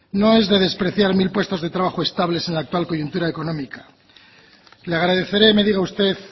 no es de despreciar mil puestos de trabajo estables en la actual coyuntura económica le agradeceré que me diga usted